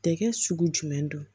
Tɛkɛ sugu jumɛn don